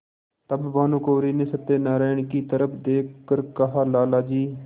तब भानुकुँवरि ने सत्यनारायण की तरफ देख कर कहालाला जी